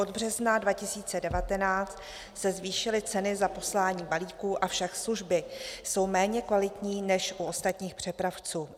Od března 2019 se zvýšily ceny za poslání balíků, avšak služby jsou méně kvalitní než u ostatních přepravců.